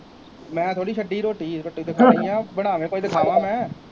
ਮੈਂ ਥੋੜ੍ਹੀ ਛੱਡੀ ਰੋਟੀ, ਰੋਟੀ ਤਾਂ ਖਾਣੀ ਹੈ, ਬਣਾਵੇ ਕੋਈ ਤਾਂ ਖਾਵਾਂ ਮੈਂ